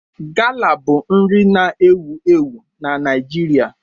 Gala bụ nri na-ewu ewu na Naịjirịa.